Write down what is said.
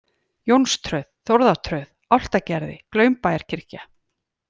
Jónströð, Þórðartröð, Álftagerði, Glaumbæjarkirkja